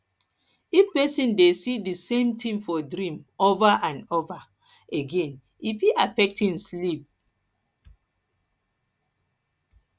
if person de see di same thing for dream over and over again e fit affect im sleep